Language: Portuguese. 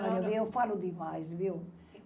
Olha, eu falo demais, viu?